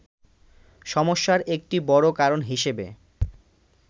সমস্যার একটি বড় কারণ হিসেবে